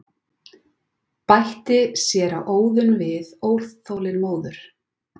bætti séra Auðunn við óþolinmóður.